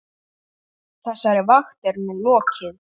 Þessari vakt er nú lokið.